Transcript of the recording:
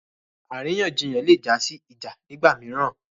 Àríyànjiyàn lè jásí ìjà nigba mìíràn